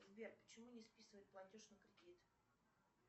сбер почему не списывают платеж на кредит